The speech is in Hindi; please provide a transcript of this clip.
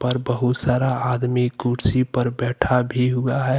पर बहुत सारा आदमी कुर्सी पर बैठा भी हुआ है।